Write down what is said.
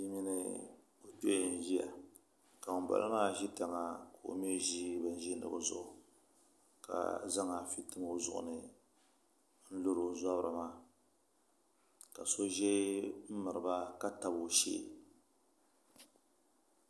Bia mini o kpee n ʒiya ka ŋunbala maa ʒi tiŋa ka o mii ʒi bin ʒiindigu zuɣu ka zaŋ afi tim o zuɣuni n lori o zabiri maa ka so ʒɛ n miriba ka tabi o shee